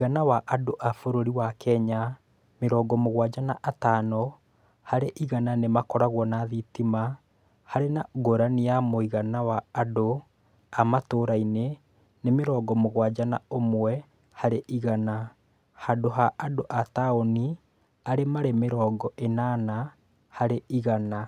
Mũigana wa andũ a bũrũri wa Kenya mĩrongo mũgwanja na atano harĩ igana nĩ makoragwo na thitima, harĩ na ngũrani ya mũigana wa andũ a matũũra-inĩ nĩ mĩrongo mũgwanja na ũmwe harĩ igana, handũ ha andũ a taũni arĩa marĩ mĩrongo ĩnana harĩ igana.